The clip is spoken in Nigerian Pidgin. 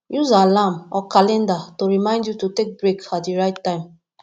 use alarm or calender to remind you to take break at di right time